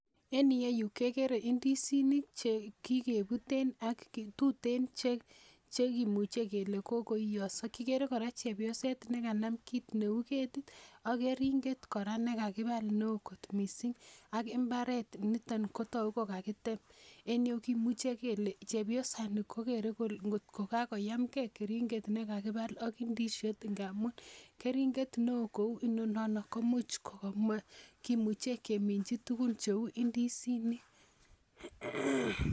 En yuee kekere indisinik chekikeputen ak tutin chekimuche kele kokoiyoso kikere kora chepyoset nekanam kiit neu ketit ak keringet kora nekakipal ne oo kot mising' ak imbaret nito kotoku ko kakitem en yu kimuche kele chepyosani kokere ngotkokakoyamkei keringet nekakipal ak ndisiot ngaamun keringet ne oo neu ninono komuch keminchi tukun cheu indisinik